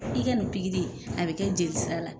I ka nin a bɛ kɛ jelisira la.